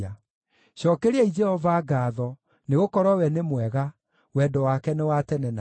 Cookeriai Jehova ngaatho, nĩgũkorwo we nĩ mwega; wendo wake nĩ wa tene na tene.